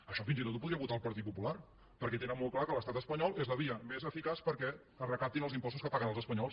això fins i tot ho podria votar el partit popular perquè tenen molt clar que l’estat espanyol és la via més eficaç perquè es recaptin els impostos que paguen els espanyols